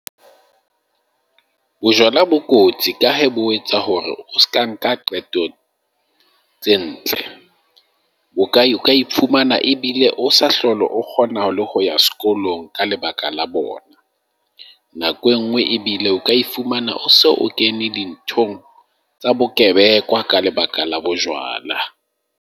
Bojwala bo kotsi ka hee bo etsa hore o seka nka qeto tse ntle. Bokae, o ka iphumana ebile o sa hlole o kgonne na le ho ya sekolong ka lebaka la bona. Nako e nngwe ebile o ka ifumana so o kene dinthong tsa bokebekwa ka lebaka la bojwala.